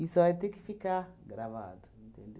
Isso vai ter que ficar gravado,